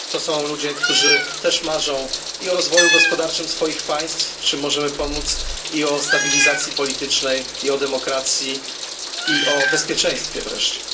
To są ludzie, którzy też marzą i o rozwoju gospodarczym swoich państw w czym możemy pomóc i o stabilizacji politycznej, i o demokracji, i o bezpieczeństwie wreszcie.